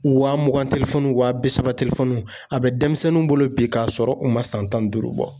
Wa mugan telefɔnuw wa bi saba tefɔnuw a bɛ denmisɛnnuw bolo bi k'a sɔrɔ u ma san tan ni duuru bɔ